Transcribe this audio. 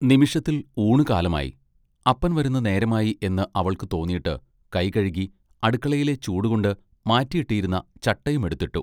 നിമിഷത്തിൽ ഊണുകാലമായി. അപ്പൻ വരുന്ന നേരമായി എന്ന് അവൾക്ക് തോന്നീട്ട് കൈ കഴുകി അടുക്കളയിലെ ചൂടുകൊണ്ട് മാറ്റിയിട്ടിരുന്ന ചട്ടയുമെടുത്തിട്ടു.